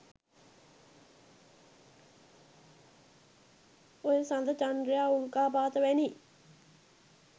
ඔය සඳ චන්ද්‍රයා උල්කාපාත වැනි